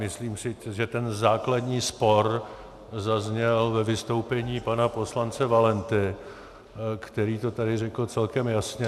Myslím si, že ten základní spor zazněl ve vystoupení pana poslance Valenty, který to tady řekl celkem jasně.